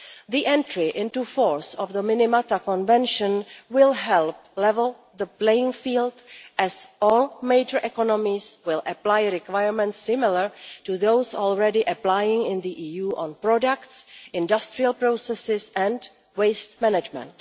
The entry into force of the Minamata Convention will help level the playing field, as all major economies will apply requirements similar to those already applying in the EU on products, industrial processes and waste management.